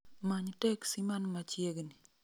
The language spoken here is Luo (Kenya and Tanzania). Many teksi man machiegni